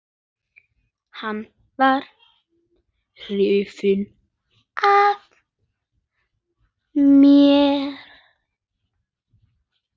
Hann var hrifinn af mér.